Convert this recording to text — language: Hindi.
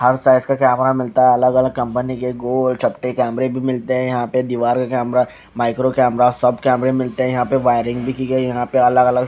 हर साइज का कैमरा मिलता है अलग अलग कंपनी के गोल चपटे कैमरे भी मिलते है यहाँ पे दिवार का कैमरा माइक्रो कैमरा सब कैमरा मिलते है यहाँ पे वायरिंग भी की गयी है यहाँ पे अलग अलग--